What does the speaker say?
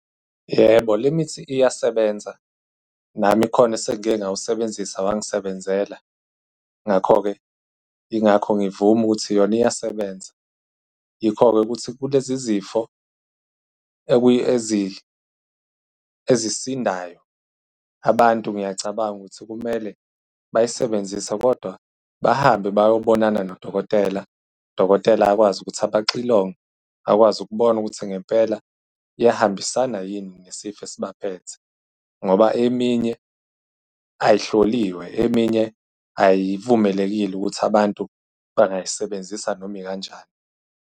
Yebo, le mithi iyasebenza. Nami kukhona esengike ngawusebenzisa, wangisebenzela. Ngakho-ke, yingakho ngivume ukuthi yona iyasebenza. Yikho-ke ukuthi kulezi izifo ezisindayo, abantu ngiyacabanga ukuthi kumele bayisebenzise, kodwa bahambe bayobonana nodokotela. Udokotela akwazi ukuthi abaxilonge, akwazi ukubona ukuthi ngempela iyahambisana yini nesifo esibaphethe. Ngoba eminye ay'hloliwe, eminye ay'vumelekile ukuthi abantu bangay'sebenzisa noma ikanjani.